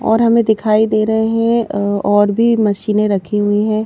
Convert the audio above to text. और हमें दिखाई दे रहे हैं और भी मशीनें रखी हुई हैं।